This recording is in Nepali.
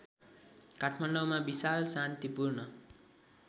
काठमाडौँमा विशाल शान्तिपूर्ण